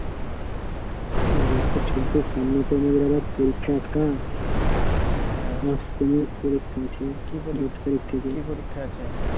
খবর তো আবার পরীক্ষা একটা সামনে পরীক্ষা আছে দশ তারিখ থেকে